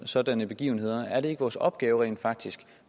sådanne begivenheder er det ikke vores opgave rent faktisk